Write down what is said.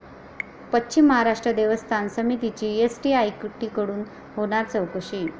पश्चिम महाराष्ट्र देवस्थान समितीची एसआयटीकडून होणार चौकशी